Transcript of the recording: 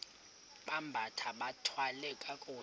bambathe bathwale kakuhle